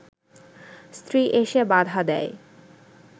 স্ত্রী এসে বাধা দেয়